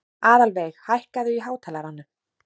Aðalveig, hækkaðu í hátalaranum.